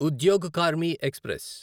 Udyog Karmi express